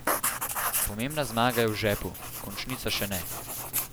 Pomembna zmaga je v žepu, končnica še ne.